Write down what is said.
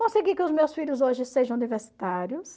Consegui que os meus filhos hoje sejam universitários.